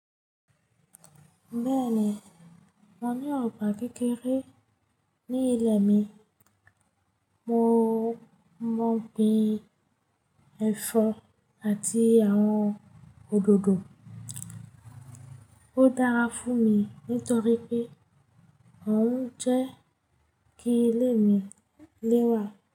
Bẹ́ẹ̀ni, mo ní ọgbà kékeré ní ilẹ̀ mi. Mo mo gbin ẹ̀fọ́ àti àwọn òdòdó. Ó dára fún mi nítorí pé òún jẹ́ kí ilé mi lẹ́wà.